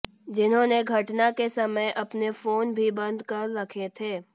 जिन्होने घटना के समय अपने फोन भी बंद कर रखे थे